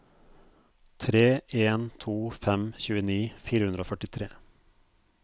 tre en to fem tjueni fire hundre og førtitre